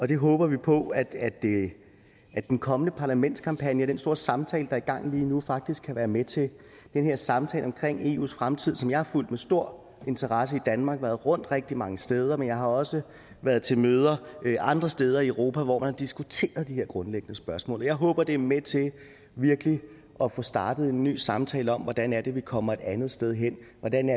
det håber vi på at den kommende parlamentskampagne den store samtale der er i gang lige nu faktisk kan være med til det er en samtale om eus fremtid som jeg har fulgt med stor interesse i danmark og været rundt rigtig mange steder men jeg har også været til møder andre steder i europa hvor man har diskuteret de her grundlæggende spørgsmål jeg håber det er med til virkelig at få startet en ny samtale om hvordan vi kommer et andet sted hen hvordan